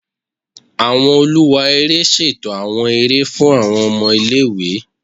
Awọn oluwa ere ṣeto awọn ere fun awọn ọmọ ile-iwe